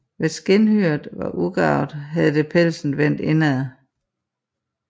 Hvis skindhyret var ugarvet havde det pelsen vendt indad